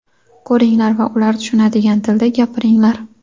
ko‘ringlar va ular tushunadigan tilda gapiringlar.